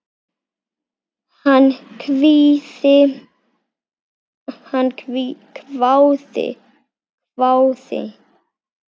Hann hváði.